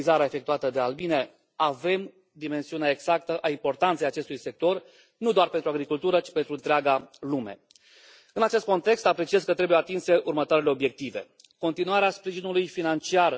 care și au